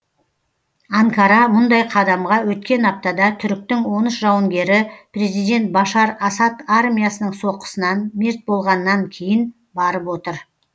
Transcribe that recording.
анкара мұндай қадамға өткен аптада түріктің он үш жауынгері президент башар асад армиясының соққысынан мерт болғаннан кейін барып отыр